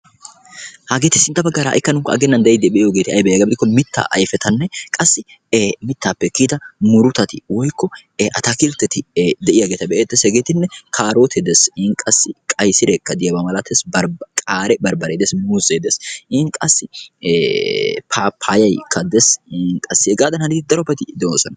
Hageeti sintta baggaara ha'ikka nu aaggennan be'iiddi diyogee ayibee giyaba gidikko mittaa ayifetanne qassi mittaappe kiyida murutati woyikko ataakiltteti de'iyageeta be'eettes. Hegeetinne kaarootee des in qassi qayisireekka diyabaa malates qaare barbbaree des muuzee des in qassi paappayayikka des heggaadan hanidi daro ati doosona.